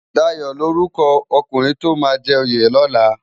Dayo lórúkò ókúnrin tó má jè óyé lòlá